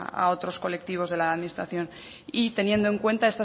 a otros colectivos de la administración y teniendo en cuenta